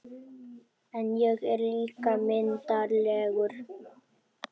En ég er líka myndarlegur